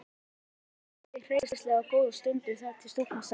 Þannig stóðu þau hreyfingarlaus góða stund þar til stúlkan sagði